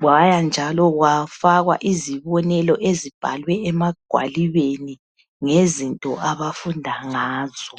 kwaya njalo kwafakwa izibonelo ezibhalwe emagwalibeni ngezinto abafunda ngazo.